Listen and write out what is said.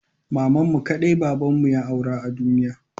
Mamanmu kaɗai babanmu ya aura a duniya.